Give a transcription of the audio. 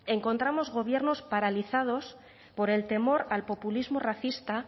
encontramos gobiernos paralizados por el temor al populismo racista